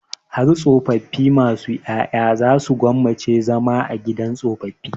Har tsofaffi masu ƴaƴa za su gwammaci zama a gidan tsofaffi.